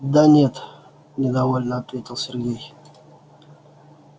да нет недовольно ответил сергей